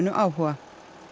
áhuga